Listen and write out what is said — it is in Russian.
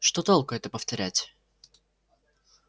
что толку это повторять